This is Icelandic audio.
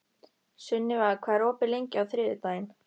Sunniva, hvað er opið lengi á þriðjudaginn?